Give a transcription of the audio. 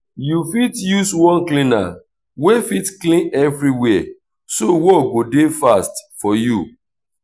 yu fit use one cleaner wey fit clean evriwia so work go dey fast for yu